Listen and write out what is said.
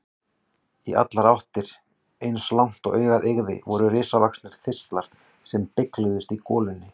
Í allar áttir, eins langt og augað eygði, voru risavaxnir þistlar sem bylgjuðust í golunni.